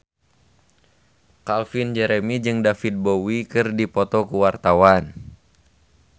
Calvin Jeremy jeung David Bowie keur dipoto ku wartawan